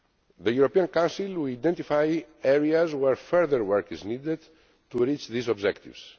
The European Council will identify areas where further work is needed to reach these objectives.